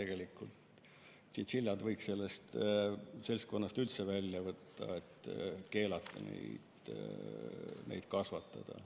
Tšintšiljad võiks sellest seltskonnast üldse välja võtta, et keelata neid kasvatada.